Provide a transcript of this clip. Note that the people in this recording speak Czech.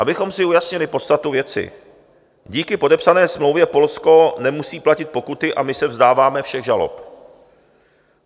Abychom si ujasnili podstatu věci, díky podepsané smlouvě Polsko nemusí platit pokuty a my se vzdáváme všech žalob.